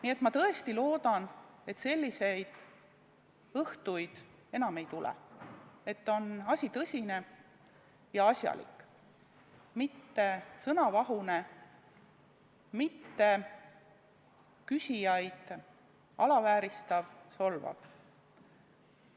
Nii et ma tõesti loodan, et selliseid õhtuid enam ei tule, et asi on tõsine ja asjalik, mitte sõnavahune, mitte küsijaid alavääristav ja solvav.